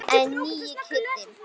En nýi Kiddi.